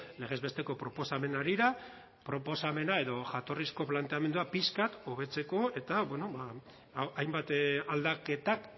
legez besteko proposamen harira proposamena edo jatorrizko planteamendua pixka bat hobetzeko eta bueno ba hainbat aldaketak